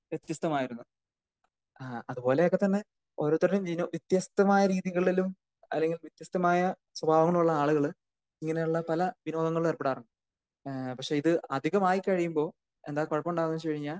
വ്യത്യസ്ത മായിരുന്നു. ആഹ് അത് പോലെ ഒക്കെ തന്നെ ഓരോരുത്തരുടെ ചില വ്യത്യസ്തമായ രീതികളിലും അല്ലെങ്കിൽ വ്യത്യസ്തമായ സ്വഭാവങ്ങളുള്ള ആളുകള് ഇങ്ങനെ ഉള്ള പല വിനോദങ്ങളിലും ഏർപ്പെടാറുണ്ട്. ഏഹ് പക്ഷെ ഇത് അധികമായി കഴിയുമ്പോൾ എന്താ കുഴപ്പം ഉണ്ടാകുക എന്ന് വെച്ച് കഴിഞ്ഞാൽ